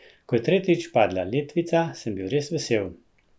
Ko je tretjič padla letvica, sem bil res vesel.